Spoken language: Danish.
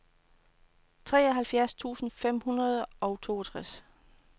treoghalvfjerds tusind fem hundrede og toogtres